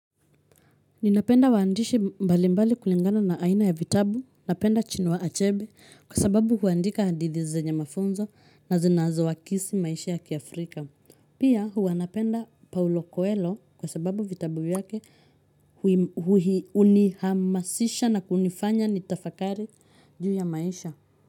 Ninapenda waandishi mbali mbali kulingana na aina ya vitabu, napenda chinua achebe kwa sababu huandika hadithi zenye mafunzo na zinazoakisi maisha ya kiafrika. Pia hua napenda paulo kuelo kwa sababu vitabu yake unihamasisha na kunifanya nitafakari juu ya maisha.